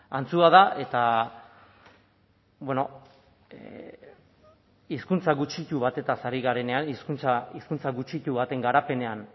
antzua da eta bueno hizkuntza gutxitu batetaz ari garenean hizkuntza gutxitu baten